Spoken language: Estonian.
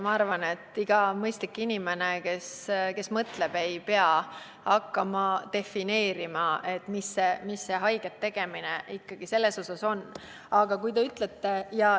Ma arvan, et ükski mõistlik inimene, kes mõtleb, ei pea hakkama defineerima, mida see haiget tegemine ikkagi tähendab.